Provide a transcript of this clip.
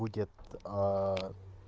будет